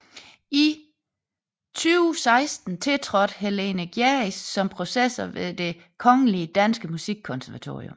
I 2016 tiltrådte Helene Gjerris som professor ved Det Kongelige Danske Musikkonservatorium